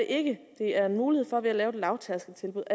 ikke det er en mulighed for at vi ved at lave et lavtærskeltilbud